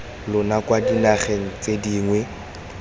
lona kwa dinageng tse dingwe